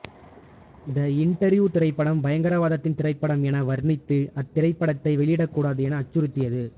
தி interview திரைப்படம் பயங்கரவாதத்தின் திரைப்படம் என வர்ணித்து அத்திரைப்படத்தை வெளியிடக்கூடாது என அச்சுறுத்தியது